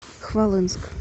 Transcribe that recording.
хвалынск